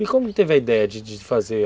E como ele teve a ideia de de fazer?